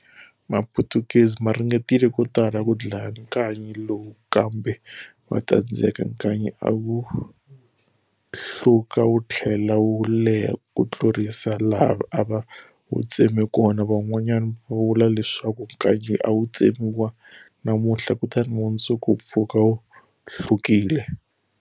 Maphutukezi maringetile kotala ku dlaya nkanyi lowu kambe vatsandzeka, nkanyi a wuhluka wuthlela wu leha kutlurisa laha ava wutsema kona. Van'wana va vula leswaku nkanyi awu tsemiwa namunthla, mundzuku wupfuka wu hlukile.